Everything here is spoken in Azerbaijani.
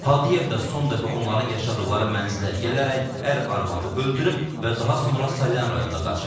Hadiyev də son dəfə onların yaşadıqları mənzilə gələrək ər-arvadı öldürüb və daha sonra Salyan rayonuna qaçıb.